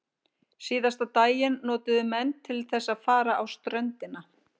Síðasta daginn notuðu menn til þess að fara á ströndina.